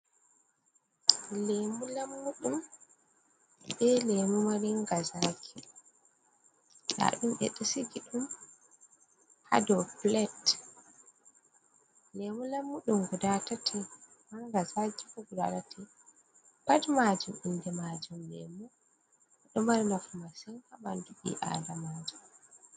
Leemu lammuɗum be leemu maringa zaaƙi. Nda ɗum ɓe ɗo sigi ɗum haa dou plet. Leemu lammuɗum guda tati, marnga zaaƙi fu guda tati. Pat maajum inde maajum leemu. Ɗo mari nafu masin haa ɓandu ɓii adamaajo.